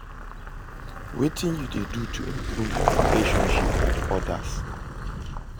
wetin you dey do to improve your relationships with odas?